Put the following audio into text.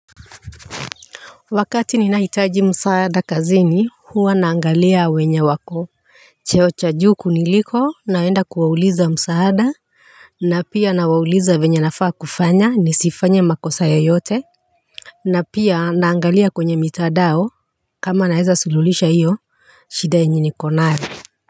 Wakati ninahitaji msaada kazini, huwa naangalia wenye wako cheo cha juu kuniliko naenda kuwauliza msaada. Na pia nawauliza venye nafaa kufanya nisifanye makosa yeyote. Na pia, naangalia kwenye mitandao, kama naeza sululisha hiyo. Shida yenye niko nayo.